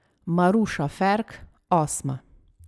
Maruša Ferk osma.